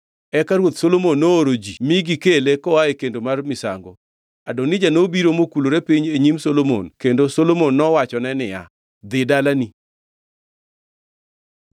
Eka Ruoth Solomon nooro ji mi gikele koa e kendo mar misango. Adonija nobiro mokulore piny e nyim Ruoth Solomon kendo Solomon nowachone niya, “Dhi dalani.”